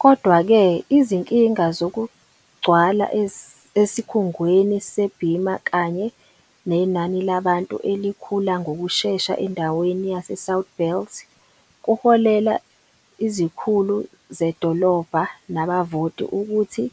Kodwa-ke, izinkinga zokugcwala esikhungweni se-Beamer kanye nenani labantu elikhula ngokushesha endaweni yaseSouth Belt kuholela izikhulu zedolobha nabavoti ukuthi